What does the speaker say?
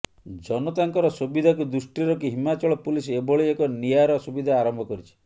ଜନତାଙ୍କର ସୁବିଧାକୁ ଦୃଷ୍ଟିରେ ରଖି ହିମାଚଳ ପୁଲିସ ଏଭଳି ଏକ ନିଆର ସୁବିଧା ଆରମ୍ଭ କରିଛି